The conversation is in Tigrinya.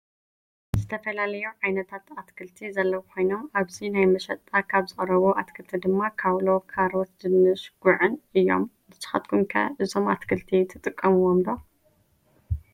ዝተፈላለዩ ዓይነታት አትክልቲ ዘለው ኮይኖም አብዚ ናብ መሽጣ ካብ ዝቀረቡ አትክልቲ ድማ ካውሎ ፣ካሮት፣ ድንሽ፣ ጉዕን እዩም ።ንስካትኩም ከ እዞም አትክልቲ ትጥቀምዎም ዶ?